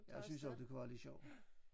Jeg synes også det kunne være lidt sjovt